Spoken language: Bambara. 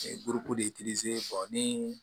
de nii